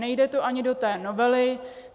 Nejde to ani do té novely.